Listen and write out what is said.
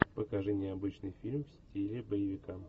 покажи необычный фильм в стиле боевика